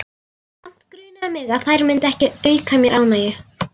Samt grunaði mig að þær myndu ekki auka mér ánægju.